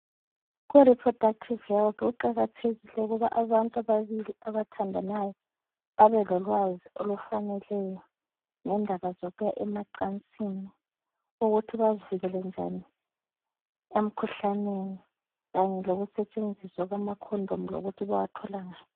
Kureproductive health kuqakathekile ukuthi abantu ababili abathandanayo babelolwazi olufaneleyo ngendaba zokuya emacansini, ukuthi bazivikele njani emkhuhlaneni kanye lokusetshenziswa kwamakhondomu lokuthi bawathola ngaphi.